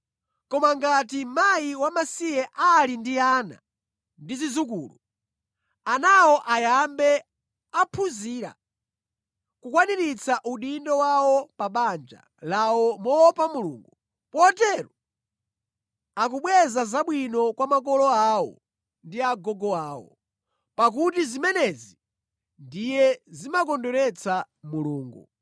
Koma ngati mkazi wamasiye ali ndi ana ndi zidzukulu, anawo ayambe aphunzira kukwaniritsa udindo wawo pa banja lawo moopa Mulungu, potero akubweza zabwino kwa makolo awo ndi agogo awo. Pakuti zimenezi ndiye zimakondweretsa Mulungu.